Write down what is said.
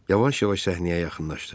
Yavaş-yavaş səhnəyə yaxınlaşdı.